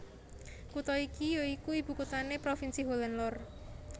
Kutha iki ya iku ibukuthané provinsi Holland Lor